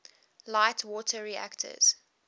light water reactors